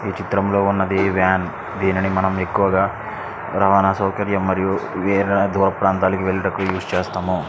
ఈ చిత్రం లో ఉన్నది వాన్ దీని మనం ఎక్కువగా రవాణా సౌకర్యము మరియు ఎక్కువ దూర ప్రాంతాలకు వేలేటపుడు ఉస్ చేస్తాము.